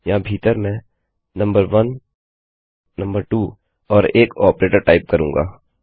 यहाँ भीतर मैं नंबर1 नंबर2 एंड एक आपरेटर टाइप करूँगा